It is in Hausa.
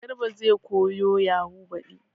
Garba zai koyo yahu baɗi